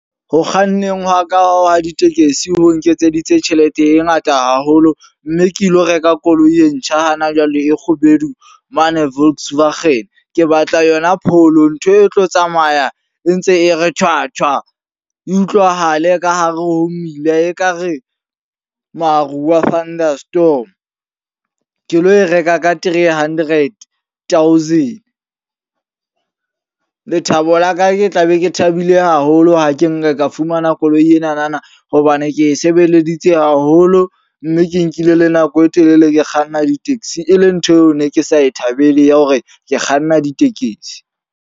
Ho kganneng hwa ka hwa ditekesi ho nketseditse tjhelete e ngata haholo. Mme ke lo reka koloi e ntjha hana jwale e kgubedu mane Volkswagen. Ke batla yona Polo. Ntho e tlo tsamaya e ntse e re thwa! Thwa! E utlwahale ka hare ho mmila ekare maruo a thunder storm. Ke lo e reka ka three hundred thousand. Lethabo la ka ke tla be ke thabile haholo ha ke nka ka fumana koloi enana. Hobane ke e sebeleditse haholo. Mme ke nkile le nako e telele ke kganna di-taxi. E le ntho eo ne ke sa e thabeleng ya hore ke kganna ditekesi.